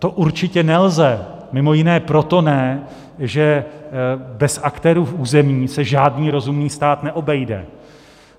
To určitě nelze, mimo jiné proto ne, že bez aktérů v území se žádný rozumný stát neobejde.